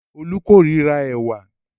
Olú kórira ẹ̀wà.